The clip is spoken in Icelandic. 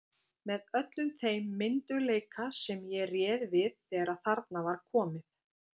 Með öllum þeim myndugleika sem ég réð við þegar þarna var komið.